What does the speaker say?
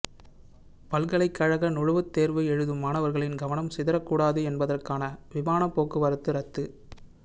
பல்கலைக்கழக நுழைவுத் தேர்வு எழுதும் மாணவர்களின் கவனம் சிதறக் கூடாது என்பதற்காக விமான போக்குவரத்து ரத்து